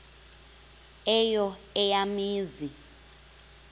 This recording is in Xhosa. eyo eya mizi